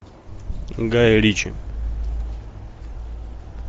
гай ричи